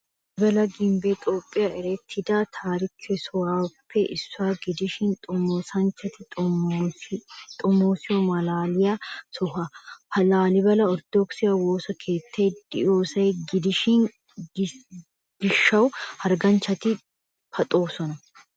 Laalibala gimbbe Toophphiyan erettidda taarike sohoppe issuwa gidishin xomoosanchchatti xomoosiyo malaaliya soho. Ha laalibali orttodookise woosa keettay de'yossa gidiyo gishawu hargganchchatti paxoosonna.